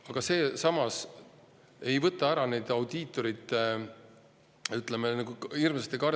Aga samas ei võta see ära audiitorite.